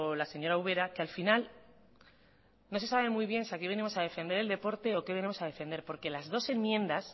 la señora ubera que al final no se sabe muy bien si aquí venimos a defender el deporte o qué venimos a defender porque las dos enmiendas